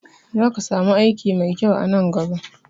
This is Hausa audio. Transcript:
Za ka samu aiki mai kyau a nan gaba